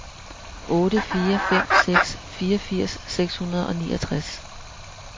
otte fire fem seks fireogfirs seks hundrede og niogtres